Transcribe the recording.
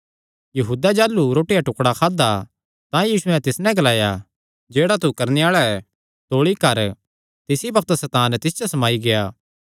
यहूदैं जाह़लू रोटी दा टुकडा खादा तां यीशुयैं तिस नैं ग्लाया जेह्ड़ा तू करणे आल़ा ऐ तौल़ी कर तिसी बग्त सैतान तिस च समाई गेआ